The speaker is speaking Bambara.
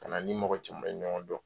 Kana n ni mɔgɔ caman ye ɲɔgɔn dɔn.